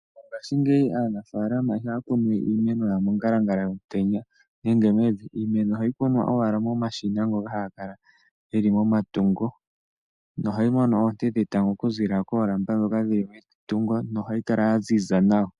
Mongashingeyi aanafalama ihaya kunu we iimeno yawo mongalangala yomutenya nenge. Iimeno ohayi kunwa owala momashina ngoka haga kala geli momatuko nohayi mono oonte okuziilila koolamba ndhoka dhili metungo nohayi kala yaziza nawa.